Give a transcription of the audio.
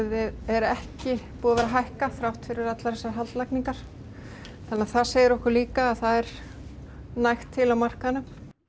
er ekki búið að vera að hækka þrátt fyrir allar þessar haldlagningar þannig að það segir okkur líka að það er nóg til á markaðnum